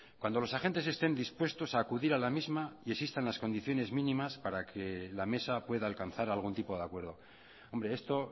cuando los agentes estén dispuestos a acudir a la misma y existan las condiciones mínimas para que la mesa pueda alcanzar algún tipo de acuerdo hombre esto